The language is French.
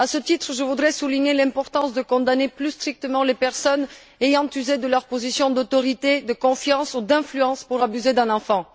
À ce titre, je voudrais souligner l'importance de condamner plus sévèrement les personnes ayant usé de leur position d'autorité, de confiance ou d'influence pour abuser d'un enfant.